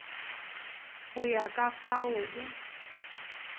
go ya ka fao o